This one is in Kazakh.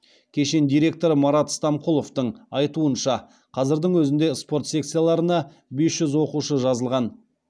кешен директоры марат стамқұловтың айтуынша қазірдің өзінде спорт секцияларына бес жүз оқушы жазылған